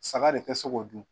Saga de te se k'o dun